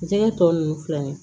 Jɛgɛ tɔ nunnu filɛ ni ye